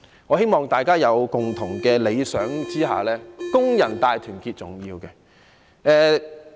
我希望大家有共同的理想下，工人大團結是重要。